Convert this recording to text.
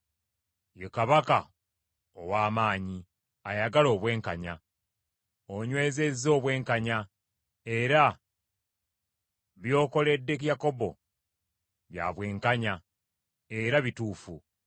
Ye Kabaka ow’amaanyi, ayagala obwenkanya. Onywezezza obwenkanya; era by’okoledde Yakobo bya bwenkanya era bituufu.